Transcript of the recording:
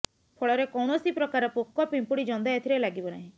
ଫଳରେ କୌଣସି ପ୍ରକାର ପୋକ ପିମ୍ପୁଡ଼ି ଜନ୍ଦା ଏଥିରେ ଲାଗିବ ନାହିଁ